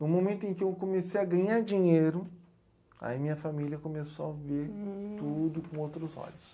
No momento em que eu comecei a ganhar dinheiro, aí minha família começou a ver tudo com outros olhos.